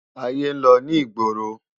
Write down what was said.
Ayé n lò ni igbórô